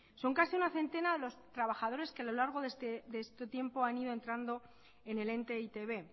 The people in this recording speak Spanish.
son casi una centena los trabajadores que a lo largo de este tiempo han ido entrando en el ente e i te be